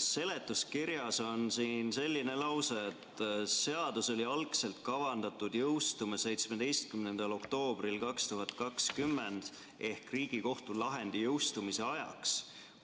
Seletuskirjas on selline lause, et seadus oli algselt kavandatud jõustuma 17. oktoobril 2020 ehk Riigikohtu lahendi jõustumise ajaks,